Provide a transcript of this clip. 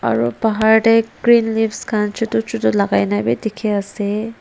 Aro bahar te green leaves khan chotu chotu lakai na beh dekhe ase.